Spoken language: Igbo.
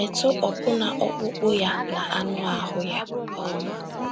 “ Metụ Ọbụna Ọkpụkpụ Ya na Anụ Ahụ́ Ya um ”